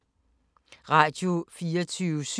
Radio24syv